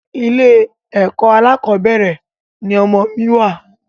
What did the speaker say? Ilé ẹkọ alákọ̀bẹ́rẹ̀ ni ọmọ mi wa